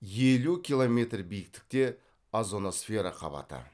елу километр биіктікте озоносфера қабаты